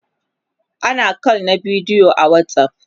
ana call na bidiyo a watsapp